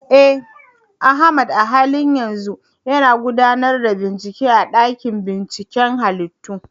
Eh, Ahmad a halin yanzu yana gudanar da bincike a dakin binciken halittu.